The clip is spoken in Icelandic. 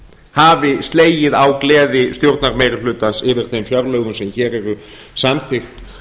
hafi slegið á gleði stjórnarmeirihlutans yfir þeim fjárlögum sem hér eru samþykkt